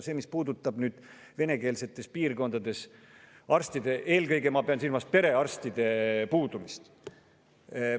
See puudutab venekeelsetes piirkondades arstide, eelkõige ma pean silmas perearstide puudumist.